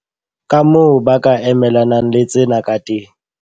Kamoo ba ka emelanang le tsena ka teng.